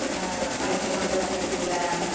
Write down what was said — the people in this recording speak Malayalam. ഏഹ്ഹ് പൈസകൊണ്ട് തന്നെ പോയി വരൻ ഒക്കെ സാധിക്കും